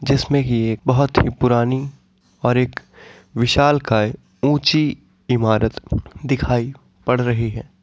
जिसमे की एक बहोत ही पुरानी और एक विशालकाय ऊँची इमारत दिखाई पड़ रही है।